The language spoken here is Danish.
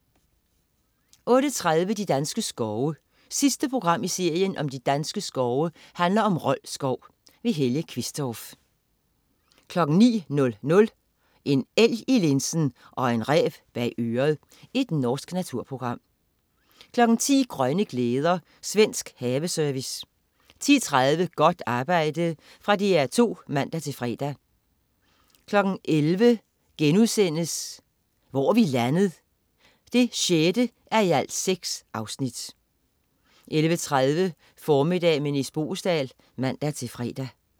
08.30 De danske skove. Sidste program i serien om de danske skove handler om Rold Skov. Helge Qvistorff 09.00 En elg i linsen og en ræv bag øret. Norsk naturprogram 10.00 Grønne glæder. Svensk haveserie 10.30 Godt arbejde. Fra DR2 (man-fre) 11.00 Hvor er vi landet? 6:6* 11.30 Formiddag med Nis Boesdal (man-fre)